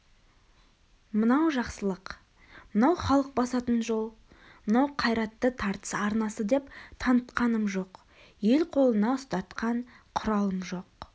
мынау жақсылық мынау халық басатын жол мынау қайратты тартыс арнасы деп танытқаным жоқ ел қолына ұстатқан құралым жоқ